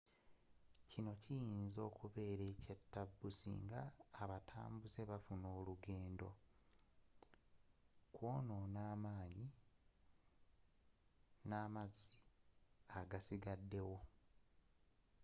kino kiyinja okubeera ekyatabu singa abatambuze bafuna olugendo kwonona amanyi n'amazzi agasigadewo